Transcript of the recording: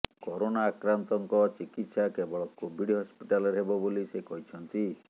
corona ଆକ୍ରାନ୍ତଙ୍କ ଚିକିତ୍ସା କେବଳ କୋଭିଡ୍ ହସ୍ପିଟାଲରେ ହେବ ବୋଲି ସେ କହିଛନ୍ତି